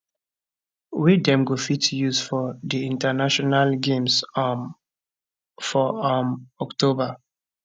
wey dem go fit use for di international games um for um october